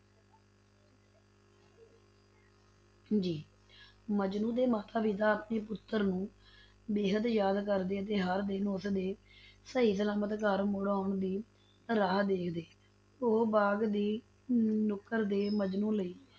ਜੀ ਮਜਨੂੰ ਦੇ ਮਾਤਾ-ਪਿਤਾ ਆਪਣੇ ਪੁੱਤਰ ਨੂੰ ਬੇਹੱਦ ਯਾਦ ਕਰਦੇ ਅਤੇ ਹਰ ਦਿਨ ਉਸਦੇ ਸਹੀ ਸਲਾਮਤ ਘਰ ਮੁੜ ਆਉਣ ਦੀ ਰਾਹ ਦੇਖਦੇ, ਉਹ ਬਾਗ ਦੀ ਨੁੱਕਰ ਤੇ ਮਜਨੂੰ ਲਈ